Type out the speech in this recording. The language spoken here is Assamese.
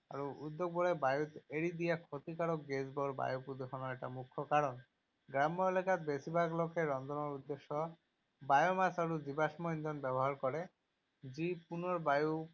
আৰু উদ্যোগবোৰে বায়ুত এৰি দিয়া ক্ষতিকাৰক গেছবোৰ বায়ু প্ৰদূষণৰ এটা মুখ্য কাৰণ। গ্ৰাম্য এলেকাত, বেছিভাগ লোকে ৰন্ধনৰ উদ্দেশ্যে বায়োমাছ আৰু জীৱাশ্ম ইন্ধন ব্যৱহাৰ কৰে, যি পুনৰ বায়ু